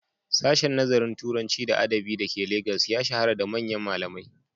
Sashen Nazarin Turanci da Adabi da ke Legas ya shahara da manyan malamai.